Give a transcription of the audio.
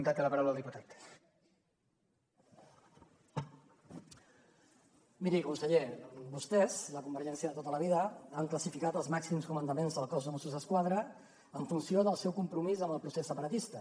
miri conseller vostès la convergència de tota la vida han classificat els màxims comandaments del cos de mossos d’esquadra en funció del seu compromís amb el procés separatista